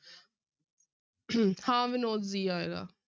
ਹਾਂ ਮਨੋਜ g ਆਏਗਾ।